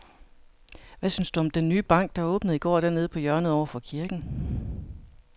Hvad synes du om den nye bank, der åbnede i går dernede på hjørnet over for kirken?